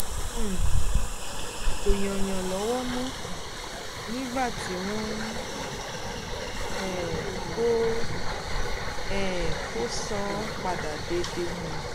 um kò yáyàn lówó mọ́ nígbà tí wọn um kò um kò san án padà déédé